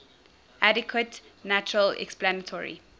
adequate natural explanatory